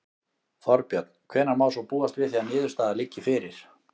Þorbjörn: Hvenær má svo búast við því að niðurstaða liggi fyrir?